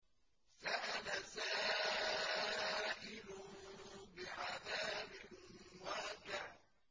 سَأَلَ سَائِلٌ بِعَذَابٍ وَاقِعٍ